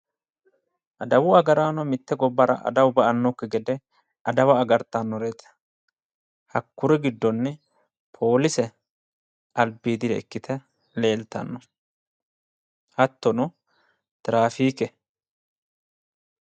Adawu agaraano mitte gobbara adawu ba'annokki gede aartannoreeti hakkuri gidonni polise Tiraafiikete